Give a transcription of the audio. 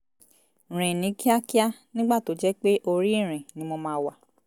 rìn ní kíákíá nígbà tó jẹ́ pé orí ìrìn ni mo máa wà